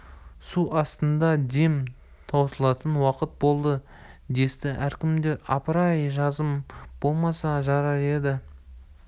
су астында дем таусылатын уақыт болды десті әркімдер апыр-ай жазым болмаса жарар еді